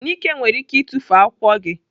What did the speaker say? Nike nwere ike itufu akwụkwọ gị.